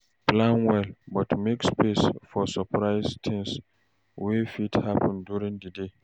Plan well, but make space for surprise things wey fit happen during the day.